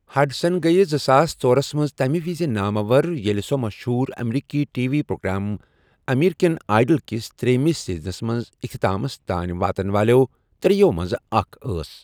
Hudson گٔٮیہِ زٕساس ژۄرَہس منٛز تمہِ وِزِ ناموَر ییٚلہِ سۄ مشہوٗر امریکی T V programme American Idol کِس تریٚیِمِس سیزنس منٛز اِختِتامَس تانۍ واتن والیٚو ترٛیٚیو منٛزٕ اکھ ٲس۔